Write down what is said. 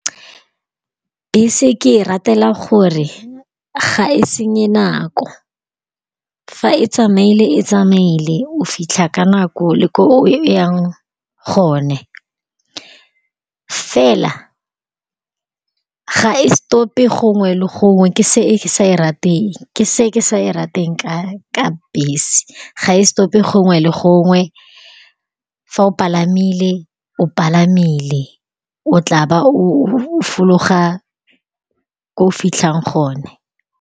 Bese ke e ratela gore ga e senye nako fa e tsamaele, e tsamaele o fitlha ka nako le ko o yang gone. Fela ga e stop-e gongwe le gongwe ke se ke sa e rateng ka bese. Ga e stop-e gongwe le gongwe, fa o palamile o palamile o tla ba o fologa ko o fitlhang gone.